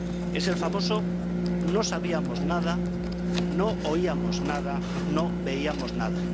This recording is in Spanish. Es el famoso no sabíamos nada, no oíamos nada, no veíamos nada.